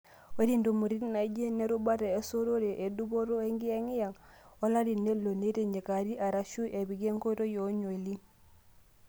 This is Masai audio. ore ntumoritin naajio nerubata e sotore edupoto enkiyengiyeng o larii neloo neitinyikari arashu epiki ekoitoi eonliyn.